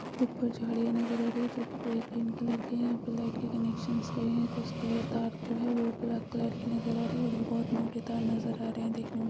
ऊपर झाडियाँ नज़र आ रही है जोकि पुरे पिंक कलर की है यहाँ प लाइट के कनेक्शंस गए है तो उसके लिए तार जो है जो ब्लैक कलर की नज़र आ रही है और ये बहुत मोटे तार नज़र आ रहे है देखने में --